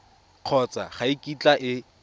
kgotsa ga e kitla e